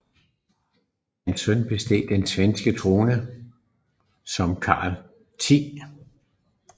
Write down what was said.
Hans søn besteg den svenske trone som Karl 10